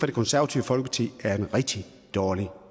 det konservative folkeparti er en rigtig dårlig